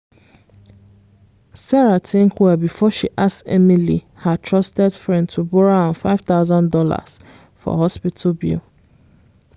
sarah think well before she ask emily her trusted friend to borrow am five thousand dollars for hospital bill.